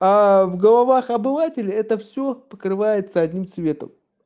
а в головах обывателя это всё покрывается одним цветом